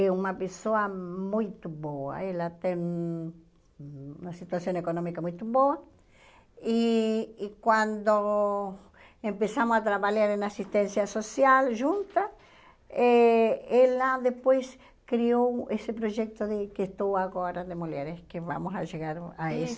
é uma pessoa muito boa, ela tem uma situação econômica muito boa, e e quando começamos a trabalhar em assistência social juntas, eh ela depois criou esse projeto de que estou agora, de mulheres, que vamos chegar a isso.